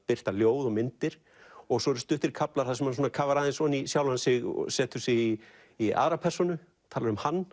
birta ljóð og myndir og svo eru stuttir kaflar þar sem hann kafar ofan í sjálfan sig setur sig í í aðra persónu talar um hann